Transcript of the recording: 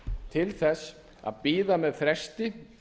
til þess að bíða með fresti